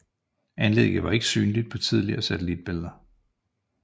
Anlægget var ikke synligt på tidligere satellitbilleder